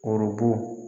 Orobo